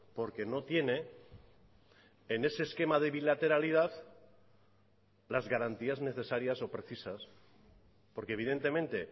porque no tiene en ese esquema de bilateralidad las garantías necesarias o precisas porque evidentemente